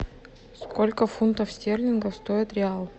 сколько фунтов стерлингов стоит реал